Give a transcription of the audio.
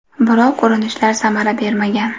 Biroq urinishlar samara bermagan.